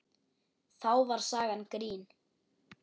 Þá var sagan grín.